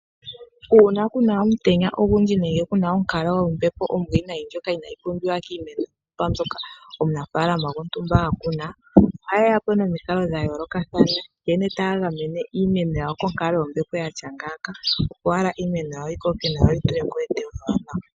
Uuna kuna omutenya ogundji nenge onkalo yombepo ombwiinayi ndjoka inaayi pumbiwa kiimeno mbyoka omunafaalama gontumba akuna, ohaye yapo nomikalo dhayoolokathana nkene taya gamene iimeno yawo konkalo yombepo yatya ngaaka, opo iimeno yawo yikoke, yo yeete etewo ewanawa.